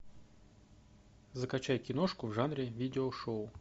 закачай киношку в жанре видеошоу